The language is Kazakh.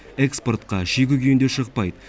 экспортқа шикі күйінде шықпайды